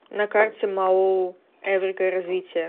на карте маоу эврика развитие